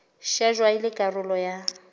shejwa e le karolo ya